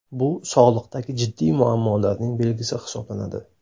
Bu sog‘liqdagi jiddiy muammolarning belgisi hisoblanadi.